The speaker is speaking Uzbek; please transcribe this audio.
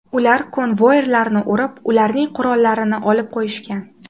Ular konvoirlarni urib, ularning qurollarini olib qo‘yishgan.